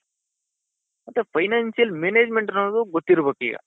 ಮತ್ತೆ financial management ಅವರಿಗೂ ಗೊತ್ತಿರ್ಬೇಕು ಈಗ.